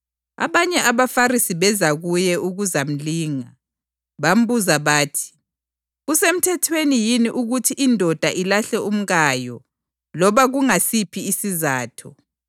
Abanye abaFarisi beza kuye ukuzamlinga. Bambuza bathi, “Kusemthethweni yini ukuthi indoda ilahle umkayo loba kungasiphi isizatho?”